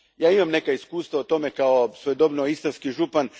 Ja imam neka iskustva o tome kao svojedobno istarski župan.